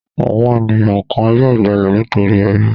Àwọn ènìyàn kan yóò jalè nítorí ebi.